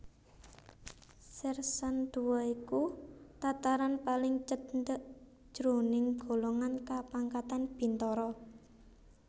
Sèrsan Dua iku tataran paling cendhèk jroning golongan kapangkatan bintara